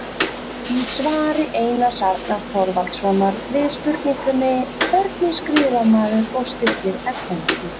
Í svari Einars Arnar Þorvaldssonar við spurningunni Hvernig skrifar maður og stillir efnajöfnu?